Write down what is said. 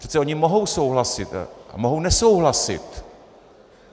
Přece ony mohou souhlasit a mohou nesouhlasit.